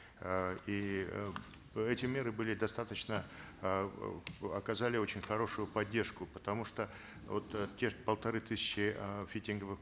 э и э эти меры были достаточно эээ оказали очень хорошую поддержку потому что вот э те же полторы тысячи э фитинговых